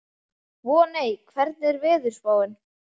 Voney, hvernig er veðurspáin?